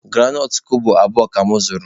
Granọt kobo abụọ ka mụ zụrụ